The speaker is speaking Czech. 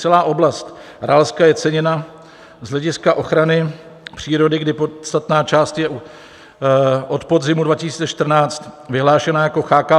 Celá oblast Ralska je ceněna z hlediska ochrany přírody, kdy podstatná část je od podzimu 2014 vyhlášena jako CHKO